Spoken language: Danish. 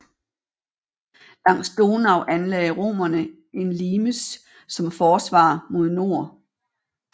Langs Donau anlagde romerne en limes som forsvar mod nord